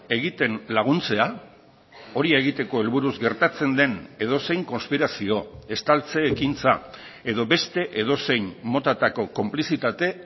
egiten laguntzea hori egiteko helburuz gertatzen den edozein konspirazio estaltze ekintza edo beste edozein motatako konplizitate